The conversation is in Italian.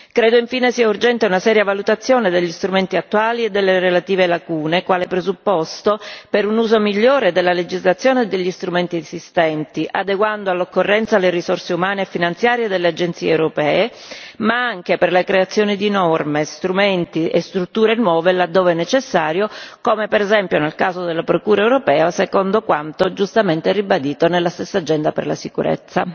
Credo, infine, si è urgente una seria valutazione degli strumenti attuali e delle relative lacune, quale presupposto per un uso migliore della legislazione degli strumenti esistenti, adeguando all'occorrenza le risorse umane e finanziarie delle agenzie europee, ma anche per la creazione di norme e strumenti e strutture nuove, laddove necessario, come per esempio nel caso della Procura europea, secondo quanto giustamente ribadito nella stessa agenda per la sicurezza.